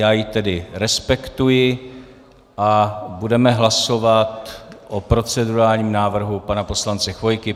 Já ji tedy respektuji a budeme hlasovat o procedurálním návrhu pana poslance Chvojky.